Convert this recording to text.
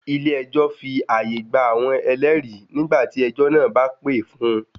Ilé ẹjọ́ fi àyè gba àwọn ẹlẹ́rìí nígbà tí ẹjọ́ náà bá pè fún-un.